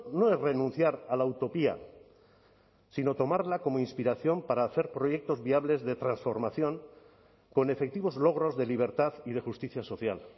no es renunciar a la utopía sino tomarla como inspiración para hacer proyectos viables de transformación con efectivos logros de libertad y de justicia social